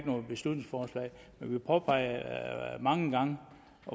noget beslutningsforslag men vi påpegede mange gange